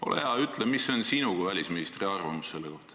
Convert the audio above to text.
Ole hea, ütle, mis on sinu kui välisministri arvamus selle kohta.